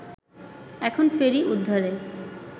এখন ফেরি উদ্ধারে